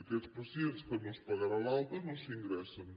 aquests pacients que no es pagarà l’alta no s’ingressen